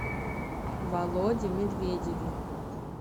володе медведеве